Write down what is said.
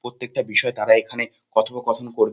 প্রত্যেকটা বিষয়ে তারা এখানে কথোপকথন কর--